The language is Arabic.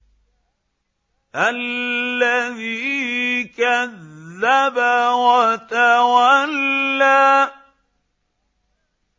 الَّذِي كَذَّبَ وَتَوَلَّىٰ